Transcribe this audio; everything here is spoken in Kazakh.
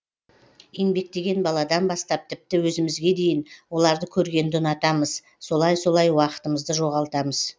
еңбектеген баладан бастап тіпті өзімізге дейін оларды көргенді ұнатамыз солай солай уақытымызды жоғалтамыз